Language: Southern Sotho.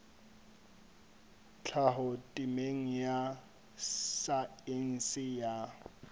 tlhaho temeng ya saense ya